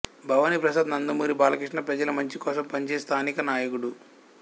భవానీ ప్రసాద్ నందమూరి బాలకృష్ణ ప్రజల మంచి కోసం పనిచేసే స్థానిక నాయకుడు